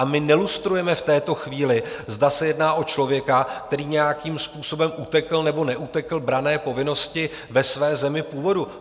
A my nelustrujeme v této chvíli, zda se jedná o člověka, který nějakým způsobem utekl nebo neutekl branné povinnosti ve své zemi původu.